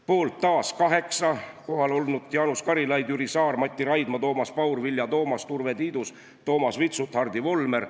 Poolt taas kaheksa kohalolnut: Jaanus Karilaid, Jüri Saar, Mati Raidma, Toomas Paur, Vilja Toomast, Urve Tiidus, Toomas Vitsut ja Hardi Volmer.